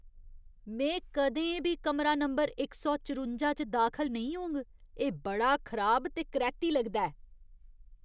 में कदें बी कमरा नंबर इक सौ चरुंजा च दाखल नेईं होंग, एह् बड़ा खराब ते करैह्ती लगदा ऐ।